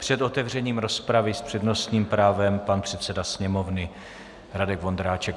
Před otevřením rozpravy s přednostním právem pan předseda Sněmovny Radek Vondráček.